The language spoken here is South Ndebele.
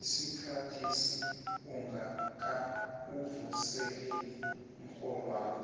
isikhathesi ungakawuvuseleli umrholwakho